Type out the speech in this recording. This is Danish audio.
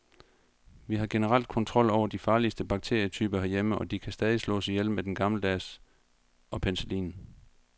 Vi har generelt kontrol over de farligste bakterietyper herhjemme, og de kan stadig slås ihjel med den gammeldags og penicillin.